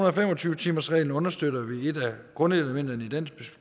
og fem og tyve timersreglen understøtter vi et af grundelementerne i